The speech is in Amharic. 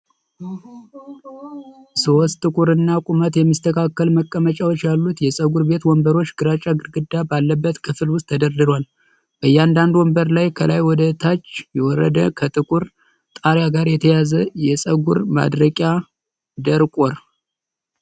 ሶስት ጥቁርና ቁመት የሚስተካከል መቀመጫዎች ያሉት የፀጉር ቤት ወንበሮች ግራጫ ግድግዳ ባለበት ክፍል ውስጥ ተደርድረዋል። በእያንዳንዱ ወንበር ላይ ከላይ ወደ ታች የወረደ፣ ከጥቁር ጣሪያ ጋር የተያያዘ የፀጉር ማድረቂያ (ደርቆር) ::